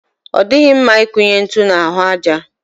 Ọ dịghị mma ikunye ntu n'ahụ aja.